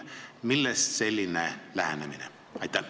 Millest selline lähenemine?